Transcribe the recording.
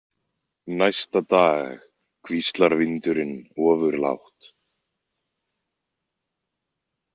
Næsta dag hvíslar vindurinn ofurlágt.